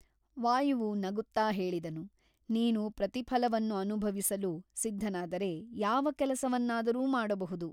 ವಾಯುವು ನಗುತ್ತಾ ಹೇಳಿದನು ನೀನು ಪ್ರತಿಫಲವನ್ನು ಅನುಭವಿಸಲು ಸಿದ್ಧನಾದರೆ ಯಾವ ಕೆಲಸವನ್ನಾದರೂ ಮಾಡಬಹುದು.